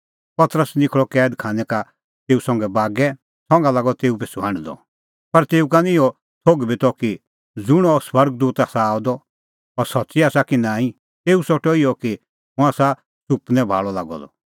पतरस निखल़अ कैद खानै का तेऊ संघै बागै संघा लागअ तेऊ पिछ़ू हांढदअ पर तेऊ का निं इहअ थोघ बी त कि ज़ुंण अह स्वर्ग दूत आसा आअ द अह सच्च़ी आसा कि नांईं तेऊ सोठअ इहअ कि हुंह आसा सुपनै भाल़अ लागअ द